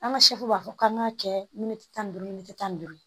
An ka b'a fɔ k'an b'a kɛ tan ni duuru tan ni duuru ye